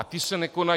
A ty se nekonají.